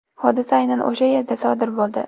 Hodisa aynan o‘sha yerda sodir bo‘ldi.